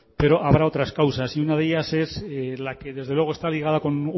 pero habrá otras causas y una de ellas es la que desde luego está ligada con